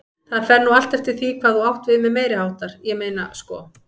Það fer nú allt eftir því hvað þú átt við með meiriháttar, ég meina sko.